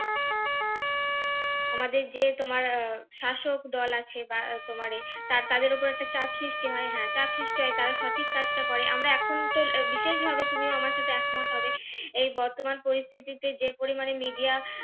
আমাদের যে তোমার আহ শাসক দল আছে বা তোমারে তাতাদের ওপর একটা চাপ সৃষ্টি হয় হ্যাঁ চাপ সৃষ্টি হয় তারা সঠিক কাজটা করে আমরা এখন বিশেষভাবে তুমিও আমার সাথে একমত হবে এই বর্তমান পরিস্থিতিতে যে পরিমাণে media